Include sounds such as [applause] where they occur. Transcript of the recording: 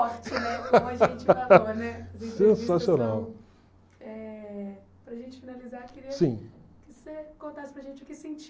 [laughs] Sensacional. Sim.